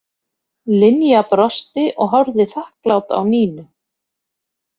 Linja brosti og horfði þakklát á Nínu.